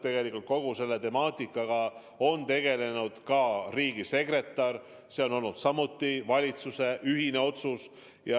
Tegelikult kogu selle temaatikaga on tegelenud ka riigisekretär, see on olnud samuti valitsuse ühine otsus.